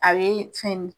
A bɛ fɛn